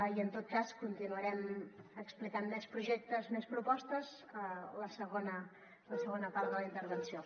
i en tot cas continuarem explicant més projectes més propostes a la segona part de la intervenció